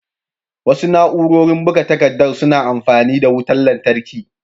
Wasu na'urori buga takaddar suna amfani da wutar lantarki